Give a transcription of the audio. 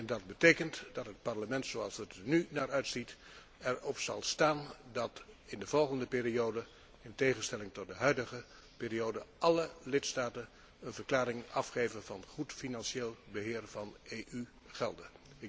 Dat betekent dat het Parlement, zoals het er nu naar uitziet, er op zal staan dat in de volgende periode, in tegenstelling tot de huidige periode, alle lidstaten een verklaring afgeven van goed financieel beheer van EU gelden.